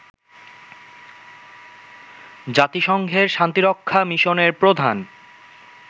জাতিসংঘের শান্তিরক্ষা মিশনের প্রধান